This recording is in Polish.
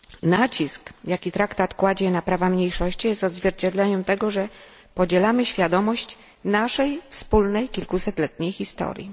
Nacisk, jaki traktat kładzie na prawa mniejszości, jest odzwierciedleniem tego, że podzielamy świadomość naszej wspólnej kilkusetletniej historii.